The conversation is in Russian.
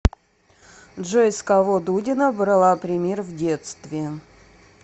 джой с кого дудина брала пример в детстве